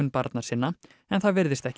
barna sinna en það virðist ekki